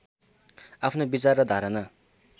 आफ्नो विचार र धारणा